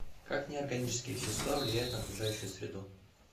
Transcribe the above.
как неорганические вещества влияют на окружающую среду